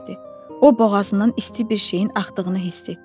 O boğazından isti bir şeyin axdığını hiss etdi.